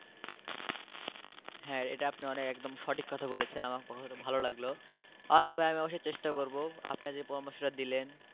হ্যাঁ এটা আপনি অনেক একদম সঠিক কথা বলেছেন আমার কথাটা ভালো লাগলো আমি অবশ্যই চেষ্টা করবো আপনি যে পরামর্শটা দিলেন।